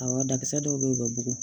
Awɔ dakisɛ dɔw bɛ yen u bɛ bugugu